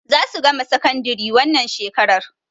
Za su gama sakandari wannan shekarar.